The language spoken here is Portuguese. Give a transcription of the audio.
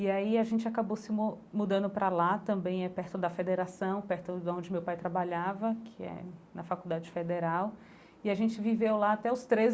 E aí a gente acabou se mo mudando para lá também, é perto da Federação, perto da onde meu pai trabalhava, que é na Faculdade Federal, e a gente viveu lá até os